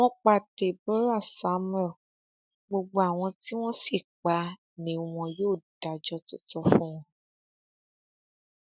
wọn pa deborah samuel gbogbo àwọn tí wọn sì pa á ni wọn yóò dájọ tó tọ fún wọn